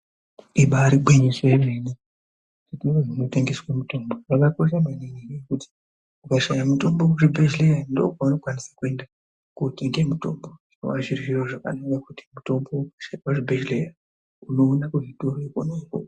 Ibaari gwinyiso yemene, zvitoro zvinotengeswe mitombo zvakakosha maningi nenyaya yekuti ukashaya mutombo kuzvibhehleya ndookwaunokwanisa kuenda kootenge mutombo. Zvinova zviri zviro zvakanaka nekuti mitombo unoshaikwa kuzvibhehleya, unoiona kona ikoko.